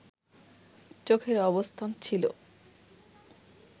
চোখের অবস্থান ছিল